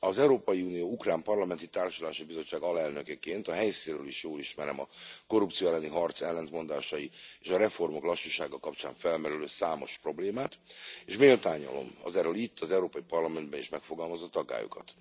Az Európai Unió ukrán parlamenti társulási bizottságának alelnökeként a helyszínről is jól ismerem a korrupció elleni harc ellentmondásai és a reformok lassúsága kapcsán felmerülő számos problémát, és méltányolom az erről itt, az Európai Parlamentben is megfogalmazott aggályokat.